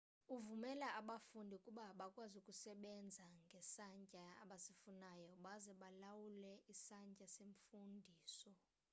ivumela abafundi ukuba bakwazi ukusebenza ngesantya abasifunayo baze balawule isantya semfundiso